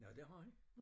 Nåh det har han?